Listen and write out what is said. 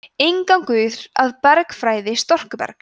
„inngangur að bergfræði storkubergs“